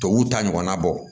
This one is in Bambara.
Tubabuw ta ɲɔgɔnna bɔ